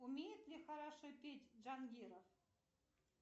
умеет ли хорошо петь джангиров